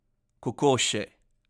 Kokoši!